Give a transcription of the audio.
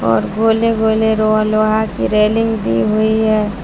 और गोले गोले रोआ लोहा के रेलिंग दी हुई है।